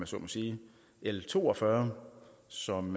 så må sige l to og fyrre som